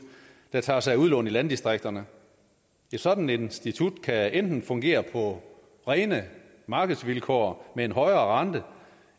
der tager sig af udlån i landdistrikterne et sådant institut kan enten fungere på rene markedsvilkår med en højere rente